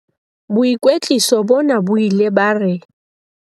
Boikwetliso bona bo ile ba re